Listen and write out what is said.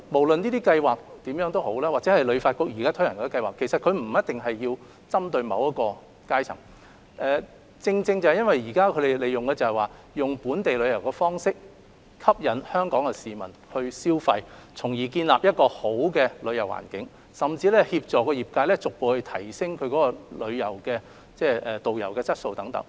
然而，這些計劃或旅發局現時推行的項目，其實並沒有針對某一階層，而是利用本地旅遊方式吸引香港市民消費，從而期望建立一個好的旅遊環境，甚至協助業界逐步提升導遊質素等。